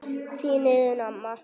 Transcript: Þín Iðunn amma.